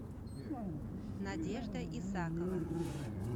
надежда исакова